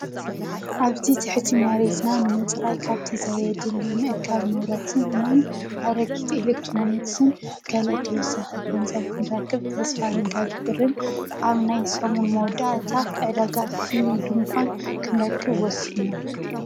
ኣብቲ ትሕቲ መሬትና ንምፅራይ ካብቲ ዘየድሊ ምእካብ ንብረትን ኣረጊት ኤሌክትሮንክስን ገለ ተወሳኺ ገንዘብ ክንረክብ ተስፋ ንገብርን ኣብ ናይ ሰሙን መወዳእታ ዕደጋ ፍሊ ድንኳን ክንረክብ ወሲና።